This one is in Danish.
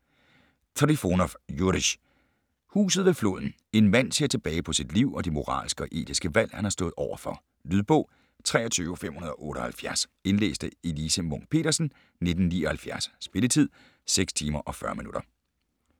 Trifonov, Jurij: Huset ved floden En mand ser tilbage på sit liv og de moralske og etiske valg, han har stået over for. Lydbog 23578 Indlæst af Elise Munch-Petersen, 1979. Spilletid: 6 timer, 40 minutter.